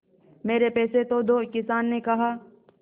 मेरे पैसे तो दो किसान ने कहा